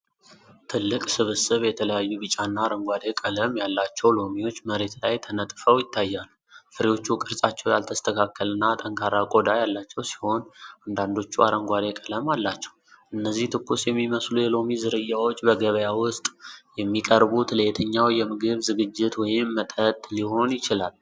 ትልቅ ስብስብ የተለያዩ ቢጫና አረንጓዴ ቀለም ያላቸው ሎሚዎች መሬት ላይ ተነጥፈው ይታያሉ። ፍሬዎቹ ቅርጻቸው ያልተስተካከለና ጠንካራ ቆዳ ያላቸው ሲሆን፤ አንዳንዶቹ አረንጓዴ ቀለም አላቸው። እነዚህ ትኩስ የሚመስሉ የሎሚ ዝርያዎች በገበያ ውስጥ የሚቀርቡት ለየትኛው የምግብ ዝግጅት ወይም መጠጥ ሊሆን ይችላል?